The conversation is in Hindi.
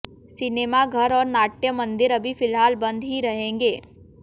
सिनेमाघर और नाट्य मंदिर अभी फिलहाल बंद ही रहेंगे